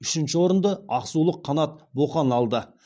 үшінші орынды ақсулық қанат боқан алды